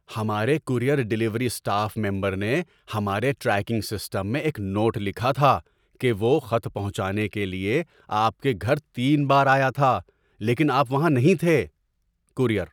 ہمارے courier delivery staff member نے ہمارے ٹریکنگ سسٹم میں ایک نوٹ لکھا تھا کہ وہ خط پہنچانے کے لیے آپ کے گھر تین بار آیا تھا، لیکن آپ وہاں نہیں تھے۔ (کورئیر)